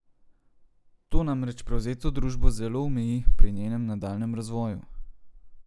To namreč prevzeto družbo zelo omeji pri njenem nadaljnjem razvoju.